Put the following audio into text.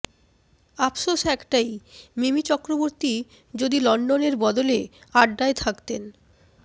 আফসোস একটাই মিমি চক্রবর্তী যদি লন্ডনের বদলে আড্ডায় থাকতেন